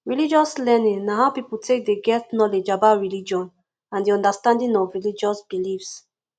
religious learning na how pipo take dey get knowlege about religion and di understanding of religious beliefs